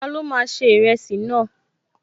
Ta ló máa ṣe ìrẹsì náà?